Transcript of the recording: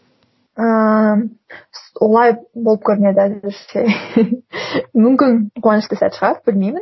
ыыы олай болып көрмеді мүмкін қуанышты сәт шығар білмеймін